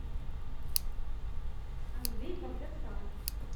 андрей багдасаров